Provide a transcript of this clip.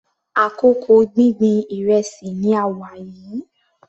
Àkókò gbíngbin ìrẹsì ni a wà yìí.